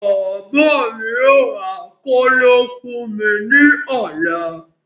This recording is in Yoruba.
Bàbá mí yóò ra kóló fún mí ní ọ̀la